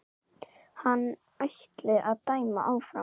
Hann ætli að dæma áfram.